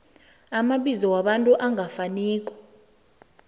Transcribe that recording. amabizo wabantu angafaniko